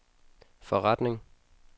forretning